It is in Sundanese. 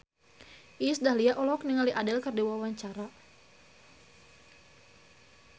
Iis Dahlia olohok ningali Adele keur diwawancara